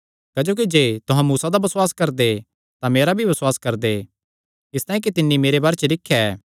क्जोकि जे तुहां मूसा दा बसुआस करदे तां मेरा भी बसुआस करदे इसतांई कि तिन्नी मेरे बारे च लिख्या ऐ